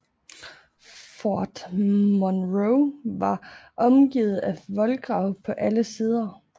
Fort Monroe var omgivet af en voldgrav på alle sider